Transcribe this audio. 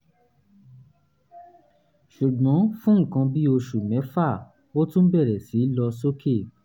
ṣùgbọ́n fún nǹkan bí oṣù mẹ́fà ó tún bẹ̀rẹ̀ sí lọ sókè